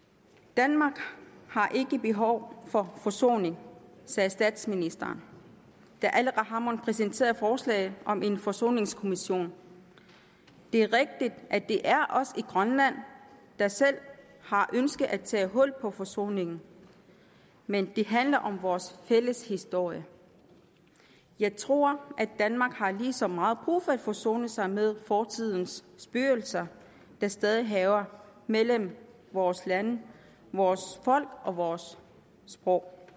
danmark har ikke behov for forsoning sagde statsministeren da aleqa hammond præsenterede forslaget om en forsoningskommission det er rigtigt at det er os i grønland der selv har ønsket at tage hul på forsoningen men det handler om vores fælles historie jeg tror at danmark har lige så meget brug for at forsone sig med fortidens spøgelser der stadig hærger mellem vores lande vores folk og vores sprog